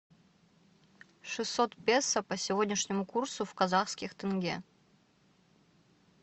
шестьсот песо по сегодняшнему курсу в казахских тенге